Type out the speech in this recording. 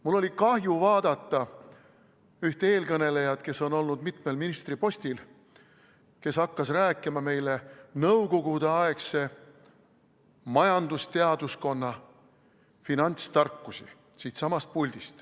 Mul oli kahju vaadata ühte eelkõnelejat, kes on olnud mitmel ministripostil, kes hakkas meile siitsamast puldist rääkima nõukogudeaegse majandusteaduskonna finantstarkusi.